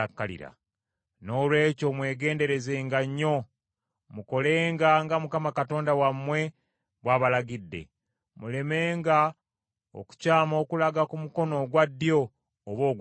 “Noolwekyo mwegenderezenga nnyo, mukolenga nga Mukama Katonda wammwe bw’abalagidde; mulemenga okukyama okulaga ku mukono ogwa ddyo oba ogwa kkono.